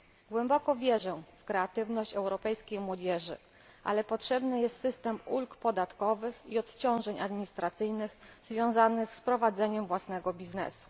Głęboko wierzę w kreatywność europejskiej młodzieży, ale potrzebny jest system ulg podatkowych i odciążeń administracyjnych związanych z prowadzeniem własnej działalności.